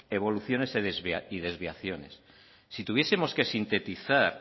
evoluciones y desviaciones si tuviesemos que sintetizar